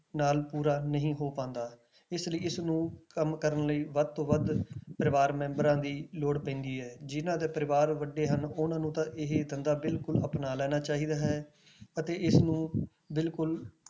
ਨਾਲ ਪੂਰਾ ਨਹੀਂ ਹੋ ਪਾਉਂਦਾ, ਇਸ ਲਈ ਇਸਨੂੰ ਕੰਮ ਕਰਨ ਲਈ ਵੱਧ ਤੋਂ ਵੱਧ ਪਰਿਵਾਰ ਮੈਂਬਰਾਂ ਦੀ ਲੋੜ ਪੈਂਦੀ ਹੈ ਜਿੰਨਾਂ ਦੇ ਪਰਿਵਾਰ ਵੱਡੇ ਹਨ ਉਹਨਾਂ ਨੂੰ ਤਾਂ ਇਹ ਧੰਦਾ ਬਿਲਕੁਲ ਅਪਣਾ ਲੈਣਾ ਚਾਹੀਦਾ ਹੈ ਅਤੇ ਇਸਨੂੰ ਬਿਲਕੁਲ